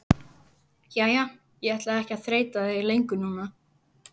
Jæja, ég ætla ekki að þreyta þig lengur núna.